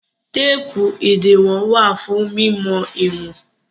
Téépù ìdiwọn wà fún mímọ ìwọ̀n.